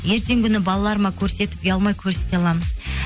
ертеңгі күні балаларыма көрсетіп ұялмай көрсете аламын